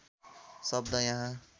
शब्द यहाँ